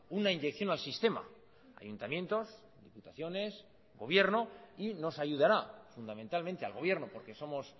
una inyección al sistema ayuntamientos diputaciones gobierno y nos ayudará fundamentalmente al gobierno porque somos